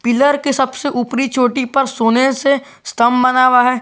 Pillar के सबसे ऊपरी चोटी पर सोने से स्तंभ बना हुआ है।